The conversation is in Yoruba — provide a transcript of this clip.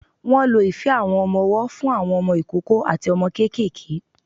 Wọ́n lo ife àwọn ọmọ-ọwọ́ fún àwọn ọmọ ìkókó àti ọmọ kéékèèké.